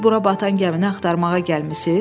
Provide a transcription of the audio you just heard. Siz bura batan gəmini axtarmağa gəlmisiz?